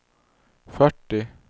fyrtio